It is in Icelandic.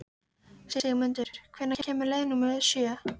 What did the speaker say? Sigmundur, hvenær kemur leið númer sjö?